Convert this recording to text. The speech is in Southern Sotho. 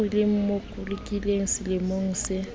eo le mmolokileng selemong se